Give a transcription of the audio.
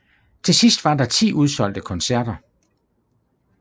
Til sidst var der ti udsolgte koncerter